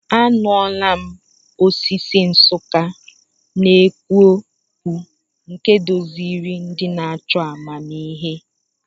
Anụla m osisi Nsukka na-ekwu okwu, nke duziri ndị na-achọ amamihe.